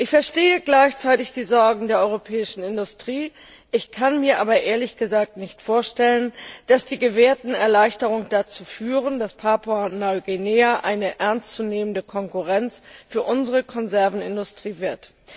Ich verstehe gleichzeitig die Sorgen der europäischen Industrie, kann mir aber, ehrlich gesagt, nicht vorstellen, dass die gewährten Erleichterungen dazu führen, dass Papua Neuguinea eine ernstzunehmende Konkurrenz für unsere Konservenindustrie wird.